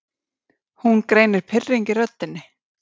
Hún greinir pirring í röddinni.